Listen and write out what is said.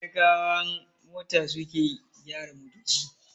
Kanikawan mota suke ke gyara motoci.